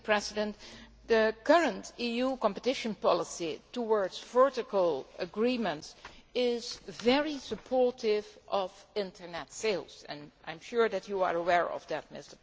The current EU competition policy towards vertical agreements is very supportive of Internet sales, and I am sure that you are aware of that, Mr President.